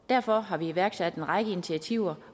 derfor har vi iværksat en række initiativer